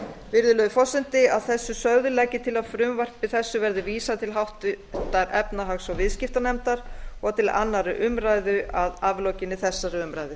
virðulegi forseti að þessu sögðu legg ég til að frumvarpi þessu verði vísað til háttvirtrar efnahags og viðskiptanefndar og til annarrar umræðu að aflokinni þessari umræðu